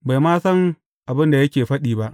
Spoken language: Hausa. Bai ma san abin da yake faɗi ba.